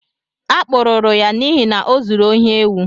A kpụrụrụ ya n'ihi na ọzụrụ ohị éwu